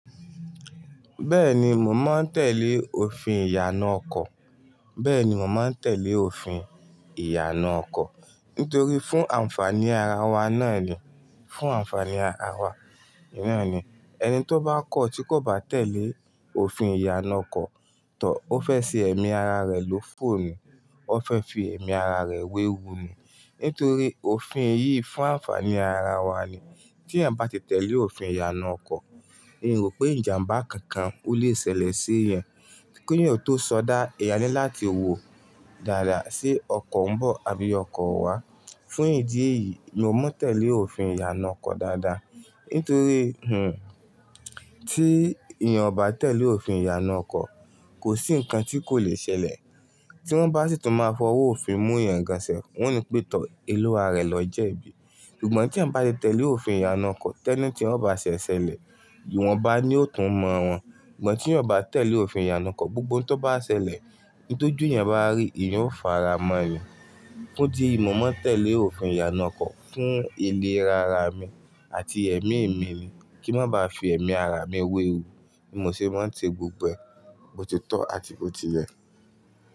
Bẹ́ẹ̀ni, mò mọ́ ń tẹ́lẹ̀ òfin ìyànà ọkọ̀. Bẹ́ẹ̀ni, mò mọ́ ń tẹ́lẹ̀ òfin ìyànà ọkọ̀. Nítorí fún ànfàní ara wa náà ni, fún ànfàní ara wa náà ni. Ẹni tó bá kọ̀ tí kò bá tẹ̀lé òfin ìyànà ọkọ̀ tọ̀, ó fẹ́ ṣe ẹ̀mí ara rẹ̀ ló fò ni. Ó fẹ́ fi ẹ̀mí ara rẹ̀ wéwu ni. Nítorí òfin yìí fún ànfàní ara wa ni. Tí ẹ̀yan bá ti tẹ̀lé òfin ìyànà ọkọ̀, èmi rò pé ìjàmbá kankan kò le ṣẹlẹ̀ sí ẹ. Keyan ò tó sọdá, eyàn ni láti wò dáadáa sé ọkọ̀ ń bọ̀ àbí ọkọ̀ wá. Fún ìdí èyí, mo mọ́ ń tẹ́lẹ̀ òfin ìyànà ọkọ̀ dáadáa. Nítorí, tí èèyàn ò bá tẹ̀lé òfin ìyànà ọkọ̀, kò sí nǹkan tí kò le ṣẹlẹ̀. Tí wọ́n bá sì tún máa fọwọ́ òfin mú ìyan gaan sef, wọ́n ni pé tọ́ eluwa rẹ lọ jẹ́ ibi. Ṣùgbọ́n tí ẹ̀yań bá ti tẹ̀lé òfin ìyànà ọkọ̀, tẹ́ní tí wọ́n bá ṣẹ ṣẹlẹ̀, ìwọ̀nba ni yóò tún mọ wọn. Ṣùgbọ́n tí ò bá tẹ̀lé òfin ìyànà ọkọ̀, gbogbo ohun tó bá ṣẹlẹ̀, n tójú yẹn bá rí i, ìyè ó fara mọ́ ni. Ó di mo mọ́ ń tẹ̀lé òfin ìyànà ọkọ̀ fún ìlera ara mi àti ẹ̀mí mi ni. Kí n má ba à fi ẹ̀mí ara mi wẹ́wu. Bi mo sì máa ń tè gbogbo è, bo ti tọ̀ àti bo ti lẹ̀.